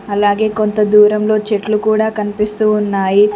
అలాగే కొంత దూరంలో చెట్లు కూడా కనిపిస్తూ ఉన్నాయి.